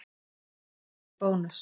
Eldur í Bónus